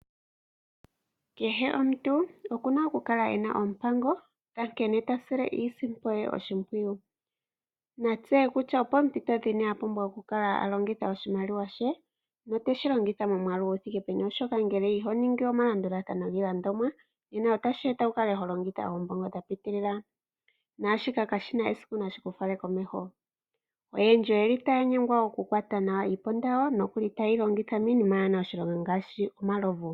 Kehe omuntu oku na okukala e na oompango dha nkene ta sile iisimpo ye oshimpwiyu. Na tseye kutya opoompito dhini a pumbwa okukala a longitha oshimaliwa she note shi longitha momwaalu gu thike peni, oshoka ngele iho ningi omalandulathano giilandomwa nena otashi eta wu kale ho longitha oombongo dha piitilila naashika kashi na esiku nashi ku fale komeho. Oyendji otaya nyengwa okukwata nawa iiponda yawo nokuli taye yi longitha miinima yaa na oshilonga ngaashi omalovu.